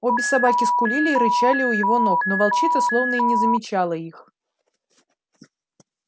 обе собаки скулили и рычали у его ног но волчица словно и не замечала их